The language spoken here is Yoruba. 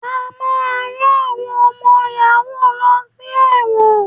A máa rán àwọn ọmọ yàhú lọ sí ẹ̀wọ̀n.